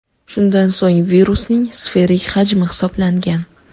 Shundan so‘ng virusning sferik hajmi hisoblangan.